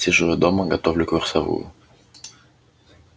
сижу я дома готовлю курсовую